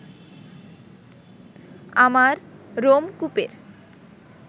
আমার রোমকূপের